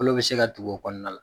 Kolo bɛ se ka tugu kɔnɔna la